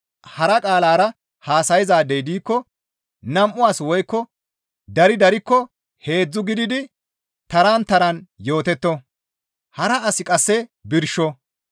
Hara qaalara haasayzay diikko nam7u as woykko dari darikko heedzdzu gididi taran taran yootetto; hara asi qasse birsho.